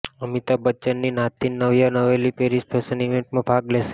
અમિતાભ બચ્ચનની નાતિન Navya Naveli Paris fashion ઈવેંટમાં ભાગ લેશે